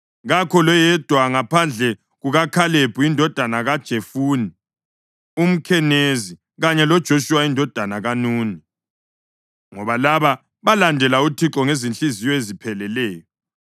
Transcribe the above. kakho loyedwa ngaphandle kukaKhalebi indodana kaJefune umKhenizi kanye loJoshuwa indodana kaNuni, ngoba laba balandela uThixo ngezinhliziyo ezipheleleyo.’